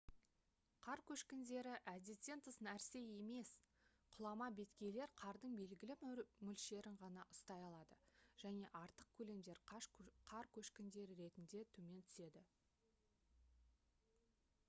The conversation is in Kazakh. қар көшкіндері әдеттен тыс нәрсе емес құлама беткейлер қардың белгілі бір мөлшерін ғана ұстай алады және артық көлемдер қар көшкіндері түрінде төмен түседі